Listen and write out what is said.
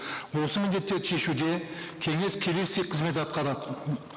осы міндеттерді шешуде кеңес келесідей қызмет атқарады